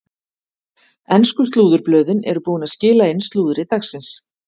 Ensku slúðurblöðin eru búin að skila inn slúðri dagsins.